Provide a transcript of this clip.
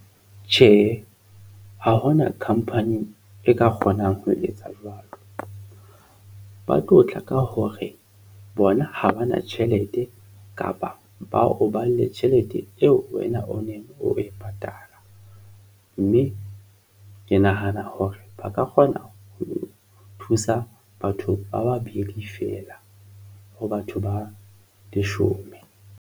Tjhe, ha hona company e ka kgonang ho etsa jwalo, ba tlo tla ka hore bona ha ba na tjhelete kapa ba o bale tjhelete eo wena o neng o e patala mme ke nahana hore ba ka kgona ho thusa batho ba babedi feela ho batho ba leshome.